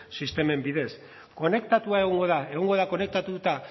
sistemen bidez konektatua egongo da egongo da konektatuta